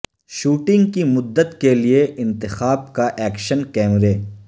shooting کی مدت کے لئے انتخاب کا ایکشن کیمرے